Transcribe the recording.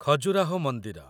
ଖଜୁରାହୋ ମନ୍ଦିର